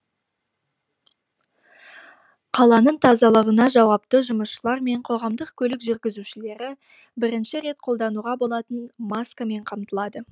қаланың тазалығына жауапты жұмысшылар мен қоғамдық көлік жүргізушілері бірнеше рет қолдануға болатын маскамен қамтылады